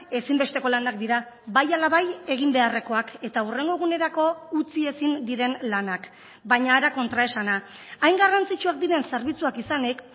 ezinbesteko lanak dira bai ala bai egin beharrekoak eta hurrengo egunerako utzi ezin diren lanak baina hara kontraesana hain garrantzitsuak diren zerbitzuak izanik